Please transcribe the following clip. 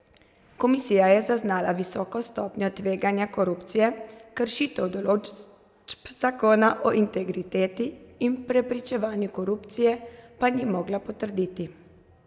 Komisija je zaznala visoko stopnjo tveganja korupcije, kršitev določb zakona o integriteti in preprečevanju korupcije pa ni mogla potrditi.